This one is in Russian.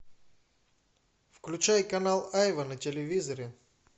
включай канал айва на телевизоре